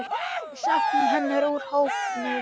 Við söknum hennar úr hópnum.